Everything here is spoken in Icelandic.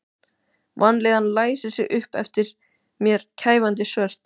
Vanlíðanin læsir sig upp eftir mér kæfandi svört.